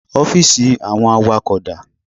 Ọ́fíìsì àwọn awakọ̀ dá?